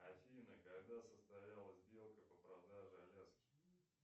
афина когда состоялась сделка по продаже аляски